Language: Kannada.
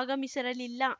ಆಗಮಿಸಿರಲಿಲ್ಲ